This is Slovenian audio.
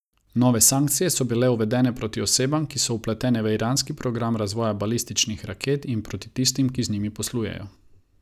Nove sankcije so bile uvedene proti osebam, ki so vpletene v iranski program razvoja balističnih raket, in proti tistim, ki z njimi poslujejo.